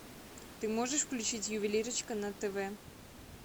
ты можешь включить ювелирочка на тв